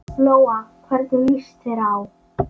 Lóa: Hvernig líst þér á?